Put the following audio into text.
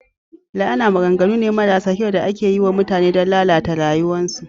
La'ana maganganu ne marasa kyau da ake yi wa mutane don lalata rayuwarsu.